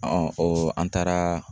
o an taara.